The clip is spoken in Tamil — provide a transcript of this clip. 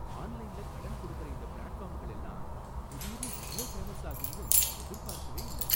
ஆன்லைன்ல கடன் கொடுக்கற இந்த பிளாட்ஃபார்ம்கள் எல்லாம் திடீர்னு இவ்ளோ ஃபேமஸ் ஆகும்னு எதிர்பார்க்கவே இல்ல.